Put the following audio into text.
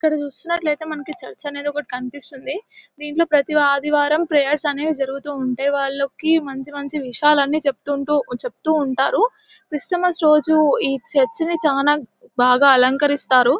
ఇక్కడ చూస్తున్నట్లైతే మనకి చర్చి అనేది ఒక్కటి కన్పిస్తుంది దింట్లో ప్రతి ఆదివారం ప్రయెర్స్ అనేవి జరుగుతుంటాయి వాళ్ళకి మంచి మంచి విషయాలని చెప్తుంటూ చెప్తు ఉంటారు క్రిస్టమస్ రోజు ఈ చర్చి ని చాల బాగా అలంకరిస్తారు .